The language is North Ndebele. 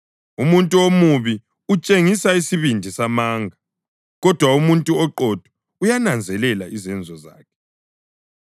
Umuntu omubi utshengisa isibindi samanga, kodwa umuntu oqotho uyananzelela izenzo zakhe.